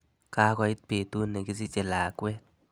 Kakoit betut nekisiche lakwet.